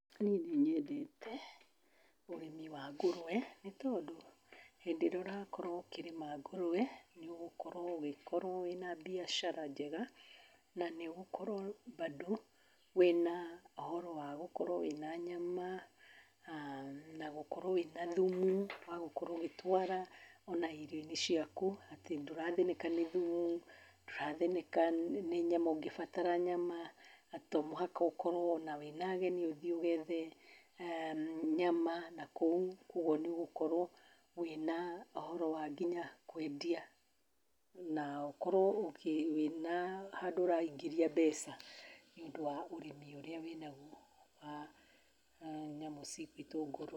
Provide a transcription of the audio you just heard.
Niĩ nĩ nyendete ũrĩmi wa ngũrwe, nĩ tondũ hĩndĩ ĩrĩa ũrakorwo ũkĩrĩma ngũrũwe, nĩ ũgũkorwo ũgĩkorwo wĩna mbiacara njega, na nĩ ũgũkorwo mbandũ wĩna ũhoro wa gũkorwo wĩna nyama, na gũkorwo wĩna thumu wa gũkorwo ũgĩtwara ona irio-inĩ ciaku, atĩ ndũrathĩnĩka nĩ thumu, ndũrathĩnĩka nĩ nyama ũngĩbatara nyama, atĩ to mũhaka ũkorwo ona wĩna ageni ũthiĩ ũgethe nyama nakũu, koguo nĩ ũgũkorwo wĩna ũhoro wa nginya kwendia na ũkorwo wĩna handũ ũraingĩria mbeca nĩũndũ wa ũrĩmi ũrĩa wĩnaguo, wa nyamũ ici cigwĩtwo ngũrwe.